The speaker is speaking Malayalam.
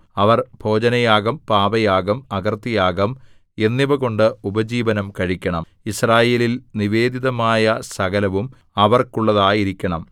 അവർ ഭോജനയാഗം പാപയാഗം അകൃത്യയാഗം എന്നിവകൊണ്ട് ഉപജീവനം കഴിക്കണം യിസ്രായേലിൽ നിവേദിതമായ സകലവും അവർക്കുള്ളതായിരിക്കണം